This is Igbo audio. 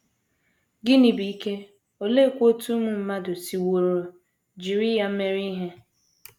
Gịnị bụ ike, oleekwa otú ụmụ mmadụ siworo jiri ya mee ihe?